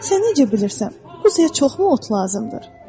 Sən necə bilirsən, quzuya çoxmu ot lazımdır?